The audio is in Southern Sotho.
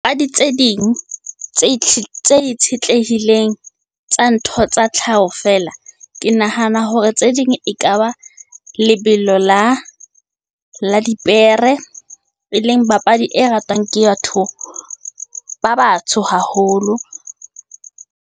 Papadi tse ding, tse itshetlehileng tsa ntho tsa tlhaho fela. Ke nahana hore tse ding ekaba lebelo la dipere, e leng papadi e ratwang ke ba batsho haholo.